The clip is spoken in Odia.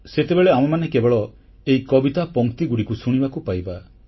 ସେତେବେଳେ ଆମେମାନେ କେବଳ ଏହି କବିତା ପଂକ୍ତିଗୁଡ଼ିକୁ ଶୁଣିବାକୁ ପାଇବା